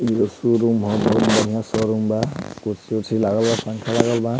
इ एगो शोरूम ह बहुत बढ़िया शोरूम बा कुर्सी-उर्सी लागल बा पंखा लागल बा।